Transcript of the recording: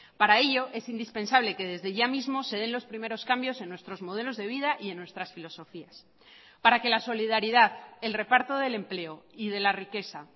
para ello es indispensable que desde ya mismo se den los primeros cambios en nuestros modelos de vida y en nuestras filosofías para que la solidaridad el reparto del empleo y de la riqueza